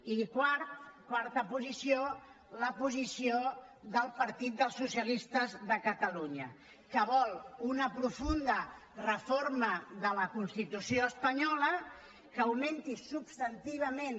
i quart quarta posició la posició del partit dels socialistes de catalunya que vol una profunda reforma de la constitució espanyola que augmenti substantivament